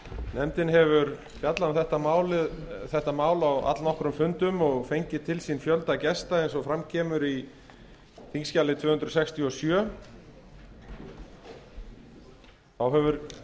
nefndin hefur fjallað um þetta mál á allnokkrum fundum og fengið til sín fjölda gesta eins og fram kemur á þingskjali tvö hundruð sextíu og sjö þá hefur